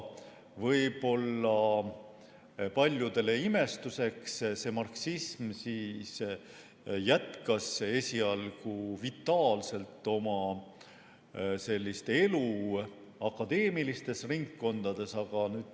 Võib-olla on see paljudele imestuseks, aga esialgu jätkas marksism vitaalselt oma elu akadeemilistes ringkondades.